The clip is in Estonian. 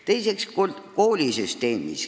Teiseks, koolisüsteem.